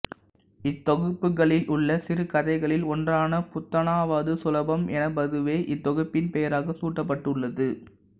இத்தொகுப்புகளிலுள்ள சிறுகதைகளில் ஒன்றான புத்தனாவது சுலபம் எனபதுவே இத்தொகுப்பின் பெயராக சூட்டப்பட்டுள்ளது